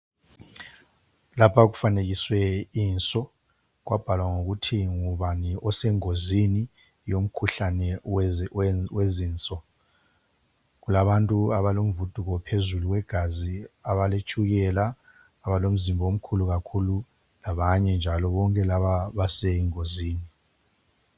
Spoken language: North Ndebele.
Lapha kufanekiswe inso, kwabhalwa ngokuthi ngubani osengozini yomkhulane owezinso. Kulabantu abalomvutho ophezulu wegazi, abaletshukela ,abalomzimba omkhulu kakhulu labanye njalo bonke laba basengozini.